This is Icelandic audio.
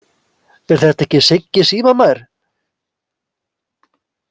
Er þetta ekki Siggi símamær!